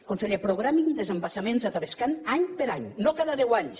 conseller programin desembassaments a tavascan any per any no cada deu anys